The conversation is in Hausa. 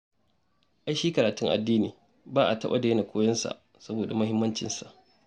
Ai shi karatun addini ba a taɓa daina koyonsa saboda muhimmancinsa